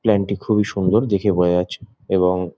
plane -টি খুবই সুন্দর দেখে বোঝা যাচ্ছে এবং--